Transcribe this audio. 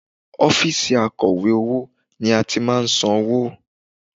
Ọ́fíìsì akọ̀wé owó ni a ti máa ń san owó